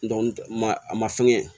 ma a ma fɛnkɛ